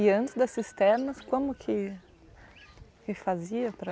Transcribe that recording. E antes da cisternas, como que se fazia para